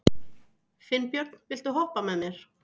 Finnbjörn, viltu hoppa með mér?